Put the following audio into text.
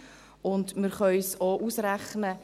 Wir können es auch ausrechnen.